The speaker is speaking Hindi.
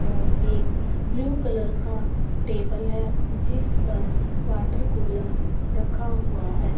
और एक ब्लू कलर का टेबल है जिस पर वाटर कूलर रखा हुआ है।